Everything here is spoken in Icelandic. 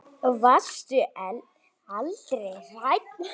Varstu aldrei hrædd?